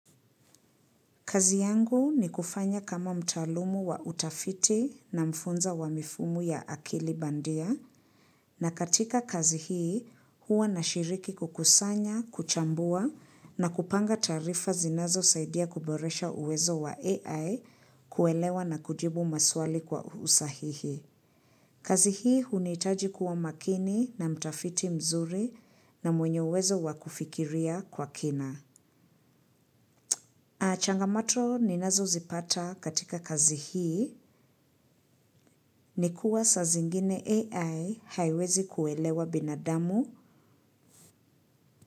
Kazi yangu ni kufanya kama mtaalumu wa utafiti na mfunza wa mifumu ya akili bandia, na katika kazi hii huwa nashiriki kukusanya, kuchambua na kupanga taarifa zinazo saidia kuboresha uwezo wa AI kuelewa na kujibu maswali kwa usahihi. Kazi hii hunihitaji kuwa makini na mtafiti mzuri na mwenye uwezo wakufikiria kwa kina. Changamoto ninazo zipata katika kazi hii ni kua saa zingine AI haiwezi kuelewa binadamu.